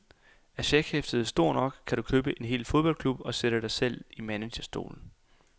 Er checkhæftet stort nok, kan du købe en hel fodboldklub og sætte dig selv i managerstolen.